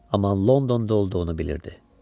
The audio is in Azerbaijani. Amma Londonda olduğunu bilirdi.